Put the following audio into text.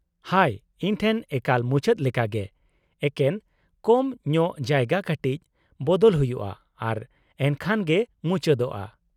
ᱦᱟᱭ, ᱤᱧ ᱴᱷᱮᱱ ᱮᱠᱟᱞ ᱢᱩᱪᱟᱹᱫ ᱞᱮᱠᱟ ᱜᱮ ; ᱮᱠᱮᱱ ᱠᱚᱢ ᱧᱚᱜ ᱡᱟᱭᱜᱟ ᱠᱟᱴᱤᱡ ᱵᱚᱫᱚᱞ ᱦᱩᱭᱩᱜᱼᱟ ᱟᱨ ᱮᱱᱠᱷᱟᱱ ᱜᱮ ᱢᱩᱪᱟᱹᱫᱚᱜᱼᱟ ᱾